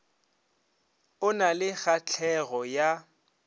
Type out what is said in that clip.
o na le kgahlego ya